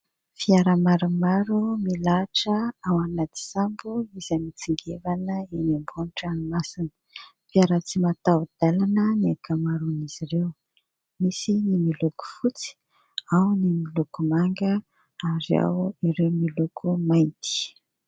Fiara maromaro milahatra ao anaty sambo izay mitsingevana eny ambony ranomasina; fiara tsy mataho-dalana ny ankamaroan'izy ireo; misy ny miloko fotsy, ao ny miloko manga, ary ao ireo miloko mainty.